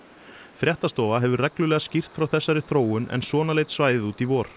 fréttastofa hefur reglulega skýrt frá þessari þróun en svona leit svæðið út í vor